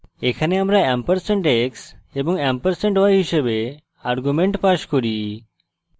এখানে আমরা ampersand x এবং ampersand y হিসাবে arguments pass করি